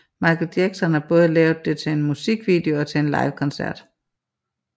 Michael Jackson har både lavet det til en musikvideo og til live koncerter